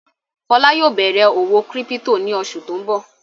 Fọlá yóò bẹ̀rẹ̀ òwò kírípító ní oṣù tó ń bọ̀.